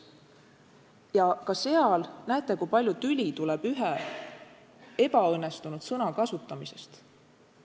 Ja ka seal näete, kui palju tüli tuleb ühe ebaõnnestunud termini kasutamisest.